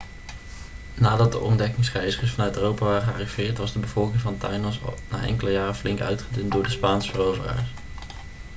nadat de ontdekkingsreizigers vanuit europa waren gearriveerd was de bevolking van tainos al na enkele jaren flink uitgedund door de spaanse veroveraars